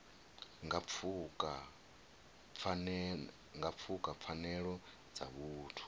nga pfuka pfanelo dza vhuthu